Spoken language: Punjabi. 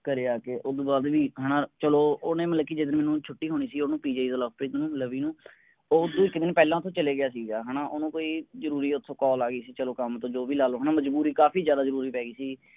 ਘਰੇ ਆ ਕੇ ਓਦੋਂ ਬਾਅਦ ਵੀ ਹੈਨਾ ਚਲੋ ਓਹਨੇ ਮਤਲਬ ਕਿ ਜਦ ਮੈਂਨੂੰ ਛੁੱਟੀ ਹੋਣੀ ਸੀ ਓਹਨੂੰ PGI ਦਾ ਲਵਪ੍ਰੀਤ ਨੂੰ ਲਵੀ ਨੂੰ ਉਹ ਤਾਂ ਕਿਹਣੀ ਪਹਿਲਾਂ ਤੋਂ ਚਲਾ ਗਿਆ ਸੀਗਾ ਹੈਨਾ ਓਹਨੂੰ ਕੋਈ ਜਰੂਰੀ ਓਥੋਂ call ਆ ਗਈ ਸੀ ਚਲੋ ਕੰਮ ਤੋਂ ਜੋ ਵੀ ਲਾ ਲਓ ਹੈਨਾ ਮਜਬੂਰੀ ਕਾਫੀ ਜ਼ਿਆਦਾ ਜਰੂਰੀ ਪੈ ਗਈ ਸੀ